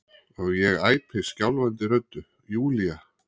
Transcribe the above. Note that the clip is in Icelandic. og ég æpi skjálfandi röddu: Júlía!